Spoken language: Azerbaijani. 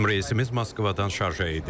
Bizim reysimiz Moskvadan Şarja idi.